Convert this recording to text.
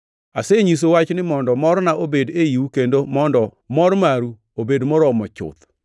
Asenyisou wachni mondo morna obed eiu kendo mondo mor maru obed moromo chuth.